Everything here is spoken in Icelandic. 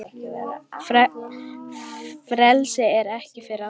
Frelsi er ekki fyrir alla.